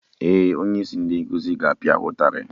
Ee, onye isi ndị nkuzi ga-apia ha ụtarị